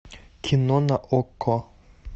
кино на окко